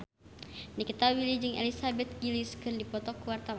Nikita Willy jeung Elizabeth Gillies keur dipoto ku wartawan